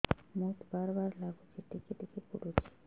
ମୁତ ବାର୍ ବାର୍ ଲାଗୁଚି ଟିକେ ଟିକେ ପୁଡୁଚି